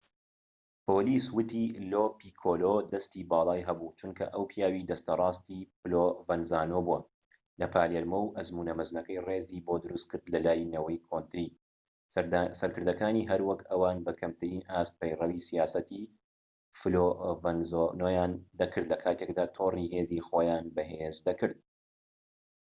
پۆلیس وتی لۆ پیکۆلۆ دەستی باڵای هەبوو چونکە ئەو پیاوی دەستە ڕاستی پلۆڤەنزانۆ بووە لە پالێرمۆ و ئەزموونە مەزنەکەی ڕێزی بۆ دروستکرد لە لای نەوەی کۆنتری سەرکردەکانی هەروەک ئەوان بە کەمترین ئاست پەیڕەوی سیاسەتی فلۆڤەنزانۆیان دەکرد لە کاتێکدا تۆڕی هێزی خۆیان بەهێز دەکرد